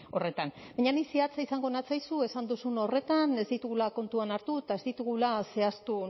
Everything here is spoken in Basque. horretan baina ni zehatza izango natzaizu esan duzun horretan ez ditugula kontuan hartu eta ez ditugula zehaztu